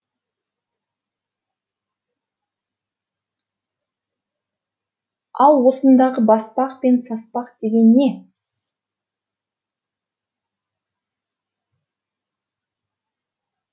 ал осындағы баспақ пен саспақ деген не